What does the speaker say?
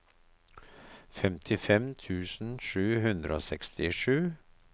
femtifem tusen sju hundre og sekstisju